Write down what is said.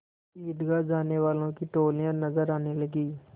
ईदगाह जाने वालों की टोलियाँ नजर आने लगीं